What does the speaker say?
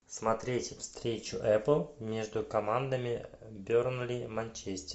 смотреть встречу апл между командами бернли манчестер